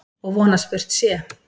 Og von að spurt sé.